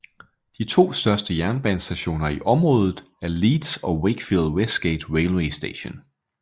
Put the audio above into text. De to største jernbanestationer i området er Leeds og Wakefield Westgate Railway Station